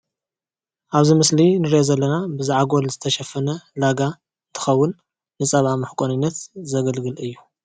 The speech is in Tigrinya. ኣብዚ ምስሊ እንሪኦ ዘለና ብዛዕጎል ዝተሸፈነ ላጋ እንትከውን ንፀባ መሕቆንነት ዘግልግል እዩ፡፡